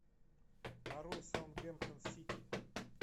нарой саутгемптон сити